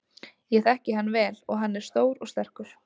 Ég þekki hann vel og hann er stór og sterkur.